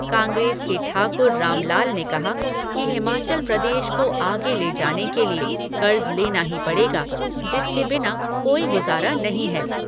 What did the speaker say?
कांग्रेस के ठाकुर रामलाल ने कहा कि हिमाचल प्रदेश को आगे ले जाने के लिए कर्ज लेना ही पड़ेगा जिसके बिना कोई गुजारा नही है।